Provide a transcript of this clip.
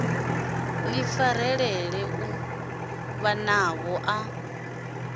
ḓi farelela iṱo ḽavho ḽa